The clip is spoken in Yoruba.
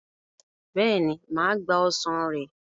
Bẹ́ẹ̀ni, mà á gba ọsàn rẹ̀.